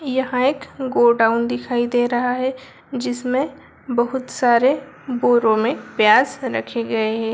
यहाँ एक गोडाउन दिखाई दे रहा है जिसमें बहुत सारे बोरों में प्याज रखे गए हैं।